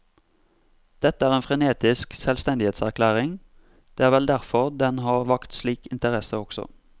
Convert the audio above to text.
Dette er en frenetisk selvstendighetserklæring, det er vel derfor den har vakt slik interesse også.